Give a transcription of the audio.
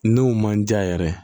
N'o man diya yɛrɛ ye